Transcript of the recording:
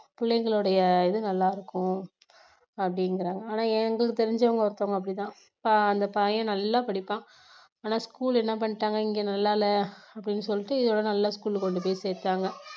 பிள்ளைங்களுடைய இது நல்லா இருக்கும் அப்படிங்கிறாங்க ஆனா எங்களுக்கு தெரிஞ்சவங்க ஒருத்தவங்க அப்படித்தான் அந்த பையன் நல்லா படிப்பான் ஆனா school என்ன பண்ணிட்டாங்க இங்க நல்லா இல்ல அப்படின்னு சொல்லிட்டு இதோட நல்ல school கொண்டு போய் சேர்த்தாங்க